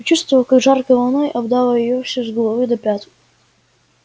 почувствовала как жаркой волной обдало её всю с головы до пят